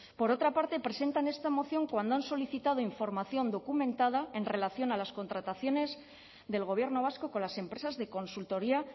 por otra parte presentan esta moción cuando han solicitado información documentada en relación a las contrataciones del gobierno vasco con las empresas de consultoría